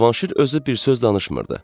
Cavanşir özü bir söz danışmırdı.